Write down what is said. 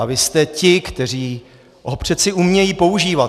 A vy jste ti, kteří ho přeci umí používat.